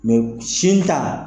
sin ta